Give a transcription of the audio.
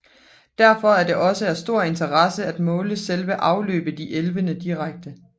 Derfor er det også af stor interesse at måle selve afløbet i elvene direkte